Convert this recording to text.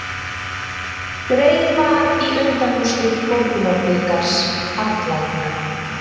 Dregið var í undanúrslit Borgunarbikars karla í dag.